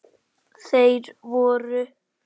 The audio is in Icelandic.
Þeir voru